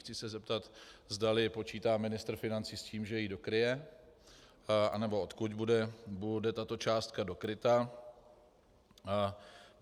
Chci se zeptat, zdali počítá ministr financí s tím, že ji dokryje, anebo odkud bude tato částka dokryta.